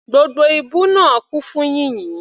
Gbogbo ibú náà kún fún yìnyín.